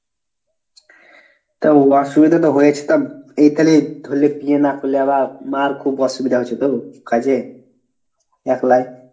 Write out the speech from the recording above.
তা অসুবিধা তো হয়েছে তা এ তালে ধরলে বিয়ে না করলে আবার মার খুব অসুবিধা হয়েছে তো কাজে একলায়।